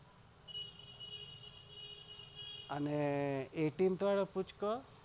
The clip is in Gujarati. અને eithinth વાળા પૂચકા